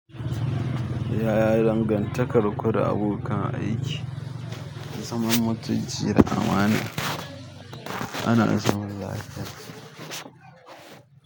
Yaya dangantakar ku da abokan aiki? "Da zaman mutunci da amana," ana isarwa da haske.